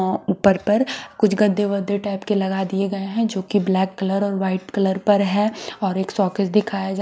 अ ऊपर पर कुछ गद्दे वड्डे टाइप के लगा दिए गये हैं जो की ब्लैक कलर और वाइट कलर पर हैं और एक सकेग दिखाया जा--